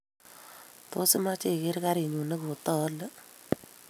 Tos, imache igeer karinyu negotaale?